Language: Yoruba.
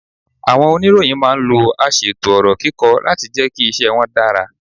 Àwọn oníròyìn máa ń lo aṣètò ọ̀rọ̀ kíkọ láti jẹ́ kí iṣẹ́ wọn dára.